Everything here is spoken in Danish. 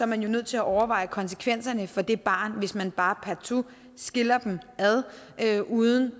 man jo nødt til at overveje konsekvenserne for det barn hvis man bare partout skiller dem ad uden